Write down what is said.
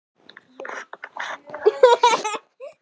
Eftir tuttugu ára þögn